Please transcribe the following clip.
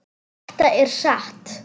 Þetta er satt!